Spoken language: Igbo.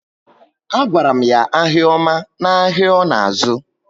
A gwara m ya ahịa oma na áhiá ọ na azu